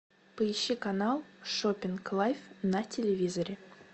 поищи канал шопинг лайв на телевизоре